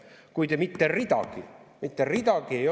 Kuid mitte ridagi – mitte ridagi!